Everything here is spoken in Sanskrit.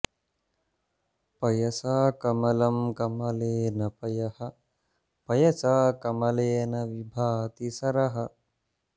पयसा कमलं कमलेन पयः पयसा कमलेन विभाति सरः